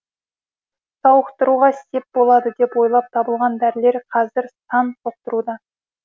сауықтыруға сеп болады деп ойлап табылған дәрілер қазір сан соқтыруда